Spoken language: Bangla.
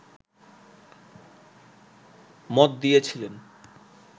মত দিয়েছিলেন